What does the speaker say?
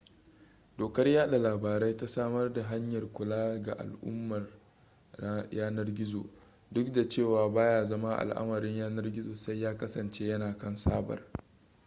dokar yada labarai ta samar da hanyar kula ga al'amuran yanar gizo duk da cewa baya zama al'amarin yanar gizo sai ya kasance yana kan sabar